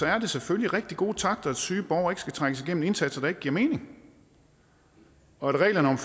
er det selvfølgelig rigtig gode takter at syge borgere ikke skal trækkes igennem indsatser der ikke giver mening og at reglerne om